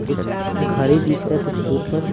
कुछ दिख रहा है कुछ दूर पर--